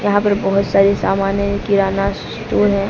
यहां पर बहोत सारी सामान है किराना स्टोर है।